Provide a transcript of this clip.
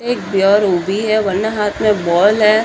एक उभी है वने हाथ में बॉल है।